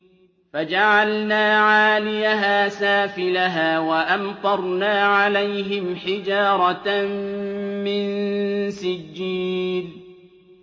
فَجَعَلْنَا عَالِيَهَا سَافِلَهَا وَأَمْطَرْنَا عَلَيْهِمْ حِجَارَةً مِّن سِجِّيلٍ